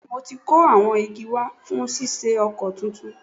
Bẹ́ẹ̀ni, mo ti kó awọn igi wa fún ṣíṣe ọkọ̀ tuntun